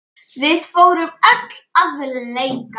Við fórum öll að leika.